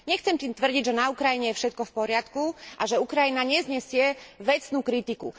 Nechcem tým tvrdiť, že na Ukrajine je všetko v poriadku a že Ukrajina neznesie vecnú kritiku.